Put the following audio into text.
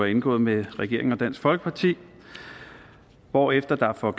indgået mellem regeringen og dansk folkeparti hvorefter der for